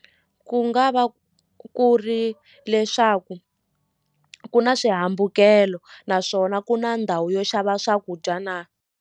Ku nga va ku ri leswaku ku na swihambukelo naswona ku na ndhawu yo xava swakudya na.